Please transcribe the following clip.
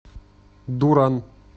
дуран